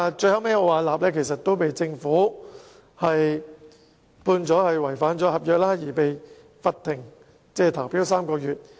最後，奧雅納被政府判違反合約，被罰不能參與競投3個月。